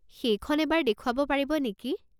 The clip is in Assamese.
সেইখন এবাৰ দেখুৱাব পাৰিব নেকি?